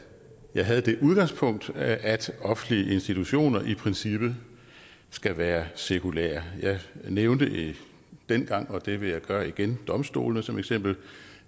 jeg havde det udgangspunkt at offentlige institutioner i princippet skal være sekulære jeg nævnte dengang og det vil jeg gøre igen domstolene som eksempel og